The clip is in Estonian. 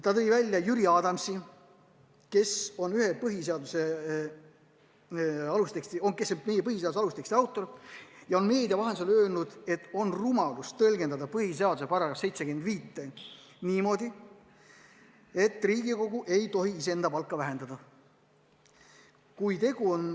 Ta nimetas Jüri Adamsit, kes on meie põhiseaduse alusteksti autoreid ja on meedia vahendusel öelnud, et on rumalus tõlgendada põhiseaduse § 75 niimoodi, et Riigikogu ei tohi iseenda palka vähendada.